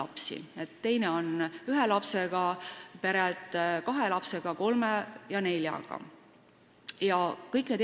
Teises tulbas on ühe lapsega pered, edasi tulevad kahe, kolme ja nelja lapsega inimesed.